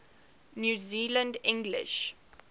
new zealand english